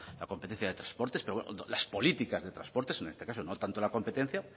la competencia de transportes pero bueno las políticas de transportes en este caso no tanto en la competencia